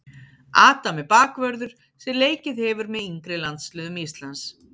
Adam er bakvörður sem leikið hefur með yngri landsliðum Íslands.